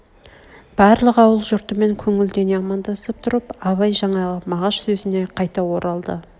барлық ауыл жұртымен көңілдене амандасып тұрып абай жаңағы мағаш сөзіне қайта оралды